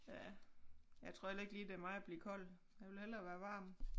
Ja jeg tror heller ikke lige det er mig at blive kold jeg vil hellere være varm